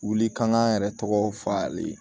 Wuli kan k'an yɛrɛ tɔgɔ f'a ye